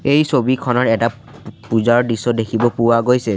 এই ছবিখনত এটা পূজাৰ দৃশ্য দেখিব পোৱা গৈছে।